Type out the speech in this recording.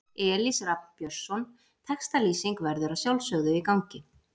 Elís Rafn Björnsson Textalýsing verður að sjálfsögðu í gangi.